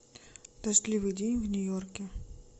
дождливый день в нью йорке